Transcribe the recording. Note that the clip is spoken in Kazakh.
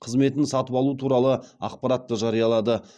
қызметін сатып алу туралы ақпаратты жариялады